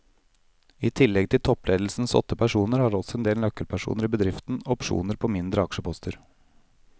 I tillegg til toppledelsens åtte personer har også en del nøkkelpersoner i bedriften opsjoner på mindre aksjeposter.